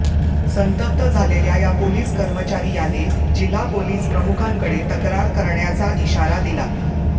संतप्त झालेल्या या पोलीस कर्मचारी याने जिल्हा पोलीस प्रमुखांकडे तक्रार करण्याचा इशारा दिला